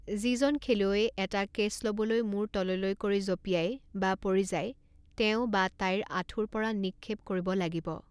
যিজন খেলুৱৈয়ে এটা কে'ছ লবলৈ মূৰ তললৈ কৰি জঁপিয়াই বা পৰি যায় তেওঁ বা তাইৰ আঁঠুৰ পৰা নিক্ষেপ কৰিব লাগিব।